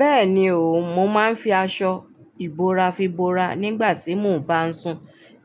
Bẹ́ẹ̀ni o, mo máa ń fi aṣọ ìbora fi bora nígbà tí mò ń bá sùn.